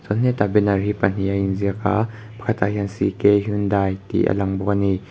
he tah banner hi pahnih a in ziak a pakhat ah hian c k hyundai tih a lang bawk a ni.